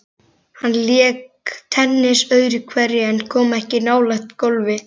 Hann lék tennis öðru hverju en kom ekki nálægt golfi.